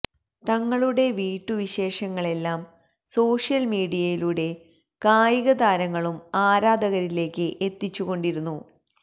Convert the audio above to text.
തങ്ങളുടെ വീട്ടു വിശേഷങ്ങളെല്ലാം സോഷ്യൽ മീഡിയയിലൂടെ കായികതാരങ്ങളും ആരാധകരിലേക്ക് എത്തിച്ചു കൊണ്ടിരുന്നു